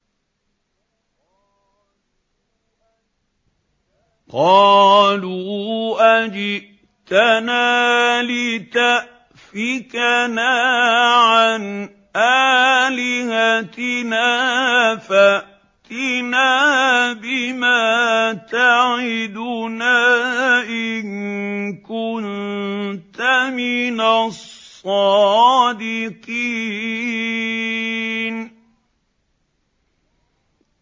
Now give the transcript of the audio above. قَالُوا أَجِئْتَنَا لِتَأْفِكَنَا عَنْ آلِهَتِنَا فَأْتِنَا بِمَا تَعِدُنَا إِن كُنتَ مِنَ الصَّادِقِينَ